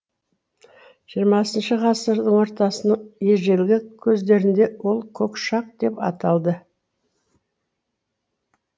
жиырмасыншы ғасырдың ортасының ежелгі көздерінде ол көкшақ деп аталды